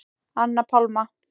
Anna Pálma.